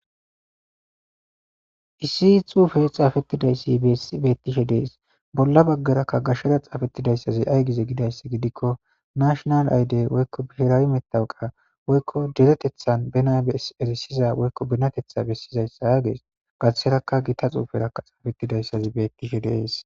Issi xufeyi xafrtidaysi betishe deesi bola bagaraka xaafetida gashe xufezi xafetidayisi ayi gize gikko nashinal ayide birawi matawuqa deretethani bana besizayisa gesi gariserakka gita xufera xaafetizayisa besesishe desi